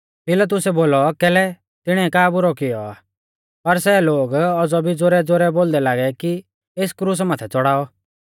पिलातुसै बोलौ कैलै तिणिऐ का बुरौ कियौ आ पर सै लोग औज़ौ भी ज़ोरैज़ोरै बोलदै लागै कि एस क्रुसा माथै च़ौड़ाऔ